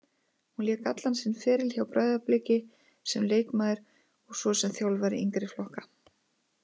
Hún lék allan sinn feril hjá Breiðabliki sem leikmaður og svo sem þjálfari yngri flokka.